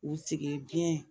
U sigi diɲɛ